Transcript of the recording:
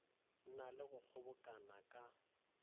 na le go kgobokana ka